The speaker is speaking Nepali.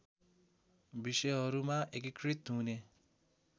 विषयहरूमा एकीकृत हुने